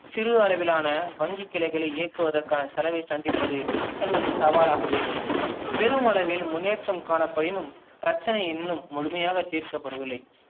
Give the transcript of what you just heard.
சிறு அளவிலான வங்கி கிளைகளை இயக்குவதற்கான செலவை சந்திப்பது என்பது சவாலாகவே உள்ளது. பெரும் அளவில் முன்னேற்றம் காணப்பயினும் பிரச்சனை இன்னும் முழுமையாக தீர்க்கபட வில்லை